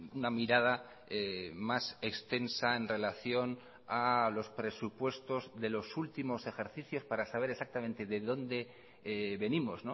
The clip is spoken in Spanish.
una mirada más extensa en relación a los presupuestos de los últimos ejercicios para saber exactamente de dónde venimos